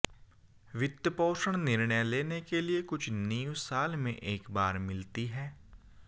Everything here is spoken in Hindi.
वित्त पोषण निर्णय लेने के लिए कुछ नींव साल में एक बार मिलती हैं